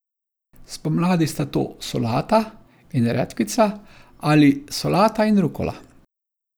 Spomladi sta to solata in redkvica ali solata in rukola.